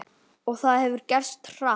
Og það hefur gerst hratt.